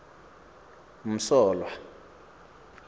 msolwa